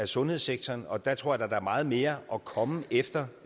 sundhedssektoren og der tror jeg da der er meget mere at komme efter